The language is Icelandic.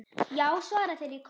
Já! svara þeir í kór.